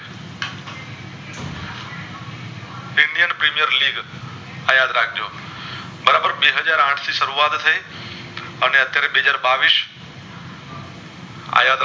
બરાબર એકહજાર આઠ થી શરૂઆત થઈ અને અત્યરે બેહજાર બાવીશ આય